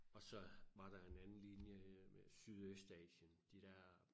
Og så var der en anden linje øh Sydøstasien de dér